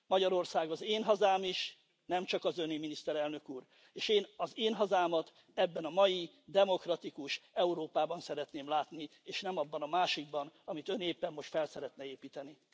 Magyarország az én hazám is, nem csak az Öné, Miniszterelnök Úr, és én az én hazámat ebben a mai, demokratikus Európában szeretném látni, és nem abban a másikban, amit Ön éppen most fel szeretne építeni.